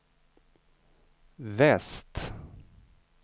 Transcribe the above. väst